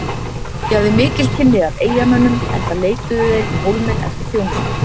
Ég hafði mikil kynni af eyjamönnum enda leituðu þeir í Hólminn eftir þjónustu.